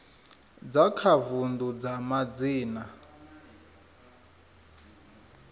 dza kha vundu dza madzina